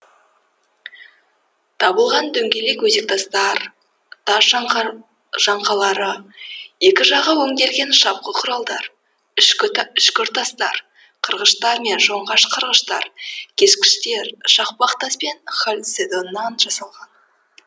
табылған дөңгелек өзектастар тас жаңқалары екі жағы өнделген шапқы құралдар үшкіртастар қырғыштар мен жонғыш қырғыштар кескіштер шақпақ тас пен халцедоннан жасалған